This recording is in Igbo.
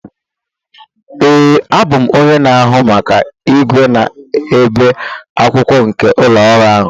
ee, abụ m onye na-ahụ maka igwe na-ebi akwụkwọ nke ụlọ ọrụ a